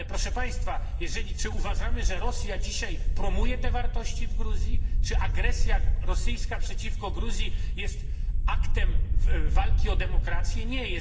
Ale proszę Państwa, czy uważamy, że Rosja dzisiaj promuje te wartości w Gruzji, czy agresja rosyjska przeciwko Gruzji jest aktem walki o demokrację? Nie.